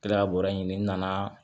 Kila ka bɔrɛ ɲini n nana